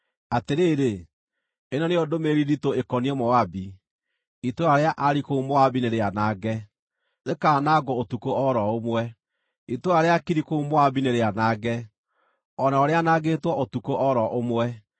Atĩrĩrĩ, ĩno nĩyo ndũmĩrĩri nditũ ĩkoniĩ Moabi: Itũũra rĩa Ari kũu Moabi nĩrĩanange, rĩkaanangwo ũtukũ o ro ũmwe! Itũũra rĩa Kiri kũu Moabi nĩrĩanange, o narĩo rĩanangĩtwo ũtukũ o ro ũmwe!